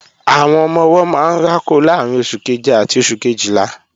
Àwọn ọmọ-ọwọ́ máa ń rákò láàrín oṣù keje àti oṣù Kejìlá